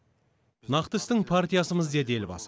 нақты істің партиясымыз деді елбасы